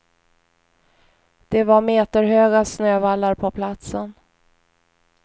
Det var meterhöga snövallar på platsen.